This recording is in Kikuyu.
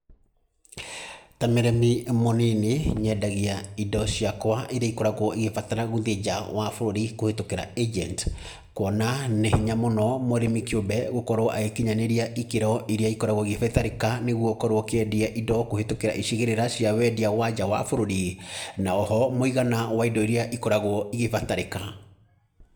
Ta mũrĩmi mũnini nyendagia indo ciakwa irĩa ikoragwo ĩgĩbatara gũthiĩ nja wa bũrũri kũhĩtũkĩra ĩnjeniti. Kuona nĩ hinya mũno mũrĩmi kĩũmbe gũkorwo agĩkinyanĩria ikĩro iria ikoragwo igĩbatarĩka nĩguo gũkorwo ũkĩendia indo kũhĩtũkĩra icigĩrĩra cia wendia wa nja wa bũrũri, na oho mũigana wa indo irĩa ikoragwo ikĩbatarĩka.